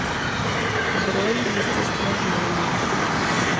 бронь естествознание